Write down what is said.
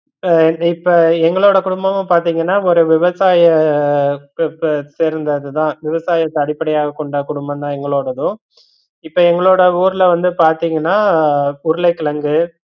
இப்ப இப்ப எங்களோட குடும்பம்னு பாத்தீங்கன்னா ஒரு விவசாய பெப்பே பேருந்து அது தான், விவசாயத்த அடிபடையாக கொண்ட குடும்பம் தான் எங்களோடதும் இப்ப எங்களோட ஊர்ல வந்து பாத்தீங்கனா உருளைக்கிழங்கு